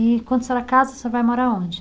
E quando a senhora casa, a senhora vai morar aonde?